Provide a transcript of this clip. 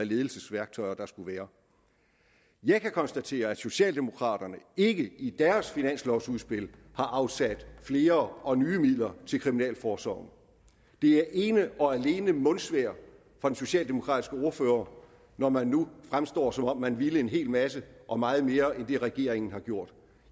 ledelsesværktøjer der skulle være jeg kan konstatere at socialdemokraterne ikke i deres finanslovudspil har afsat flere og nye midler til kriminalforsorgen det er ene og alene mundsvejr fra den socialdemokratiske ordfører når man nu fremstår som om man har villet en hel masse og meget mere end det regeringen har gjort